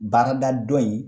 Baarada dɔ in